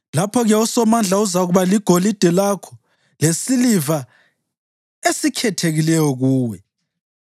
lapho-ke uSomandla uzakuba ligolide lakho, lesiliva esikhethekileyo kuwe.